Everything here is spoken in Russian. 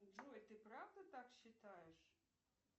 джой ты правда так считаешь